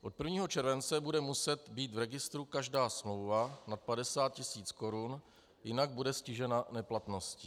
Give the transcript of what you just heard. Od 1. července bude muset být v registru každá smlouva nad 50 tis. korun, jinak bude stižena neplatnosti.